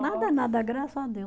Nada, nada, graças a Deus.